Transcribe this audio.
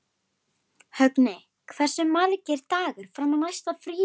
Högni, hversu margir dagar fram að næsta fríi?